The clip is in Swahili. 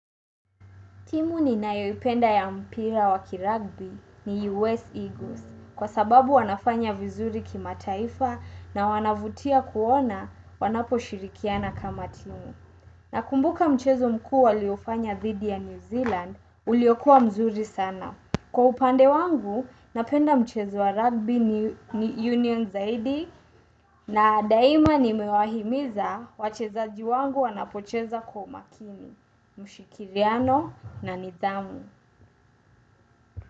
Timu ninayo penda ya mpira wakirugby ni U.S. Eagles kwa sababu wanafanya vizuri kimataifa na wanavutia kuona wanapo shirikiana kama timu. Nakumbuka mchezo mkuu waliofanya dhidi ya New Zealand uliokua mzuri sana. Kwa upande wangu, napenda mchezo wa rugby union zaidi na daima nimewahimiza wachezaji wangu wanapocheza kwa umakini, mshirikiano na nidhamu.